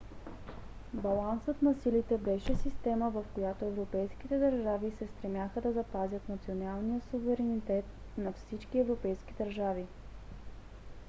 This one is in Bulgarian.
балансът на силите беше система в която европейските държави се стремяха да запазят националния суверенитет на всички европейски държави